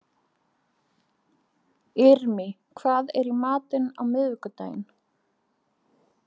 Irmý, hvað er í matinn á miðvikudaginn?